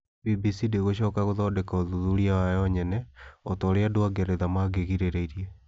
BBC ndĩgũcoka gũthondeka ũthuthuria wayo nyene, o ta ũrĩa andũ a Ngeretha mangĩrĩgĩrĩire.